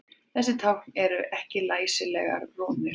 Þessi tákn eru ekki læsilegar rúnir.